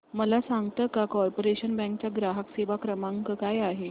मला सांगता का कॉर्पोरेशन बँक चा ग्राहक सेवा क्रमांक काय आहे